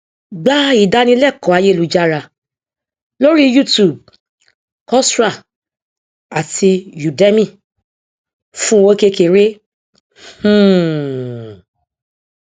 gba ìdánilẹkọọ ayélujára lórí youtube coursera àti udemy fún owó kékeré um